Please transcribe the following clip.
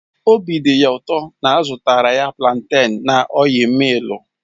Obi dị ya ụtọ na a zụtara planten na ọil millu